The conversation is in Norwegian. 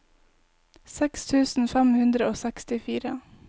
seks tusen fem hundre og sekstifire